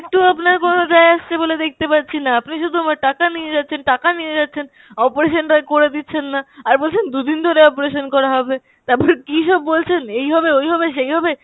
একটুও আপনার কোনো যায় আসছে বলে দেখতে পাচ্ছিনা, আপনি শুধু আমার টাকা নিয়ে যাচ্ছেন, টাকা নিয়ে যাচ্ছেন, operation টা করে দিচ্ছেন না, আর বলছেন দু'দিন ধরে operation করা হবে। তারপর কীসব বলছেন এই হবে ওই হবে সেই হবে,